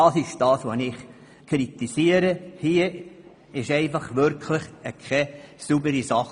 Das kritisiere ich, denn das ist einfach keine saubere Sache.